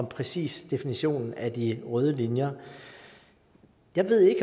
præcise definition af de røde linjer jeg ved